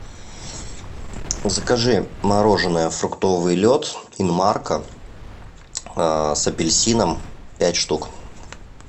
закажи мороженое фруктовый лед инмарко с апельсином пять штук